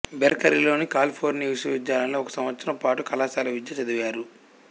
బెర్కెలీలోని California విశ్వవిద్యాలయంలో ఒక సంవత్సరం పాటు కళాశాల విద్య చదివారు